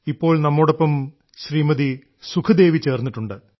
ഇപ്പോൾ നമ്മോടൊപ്പം ശ്രീമതി സുഖ്ദേവി ചേർന്നിട്ടുണ്ട്